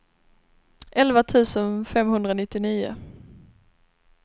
elva tusen femhundranittionio